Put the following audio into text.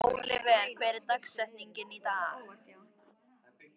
Oliver, hver er dagsetningin í dag?